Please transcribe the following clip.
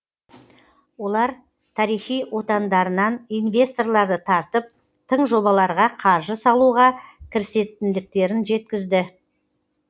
олар тарихи отандарынан инвесторларды тартып тың жобаларға қаржы салуға кірісетіндіктерін жеткізді